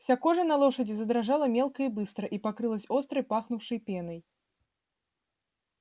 вся кожа на лошади задрожала мелко и быстро и покрылась остро пахнувшей пеной